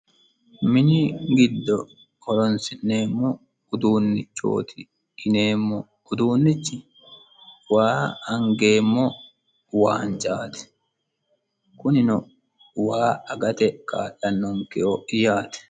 mini giddo holonsi'neemmo uduunnichooti yineemmo uduunnichi waa angeemmo waancaati kunino waa agate ka'lannoonkeho yaate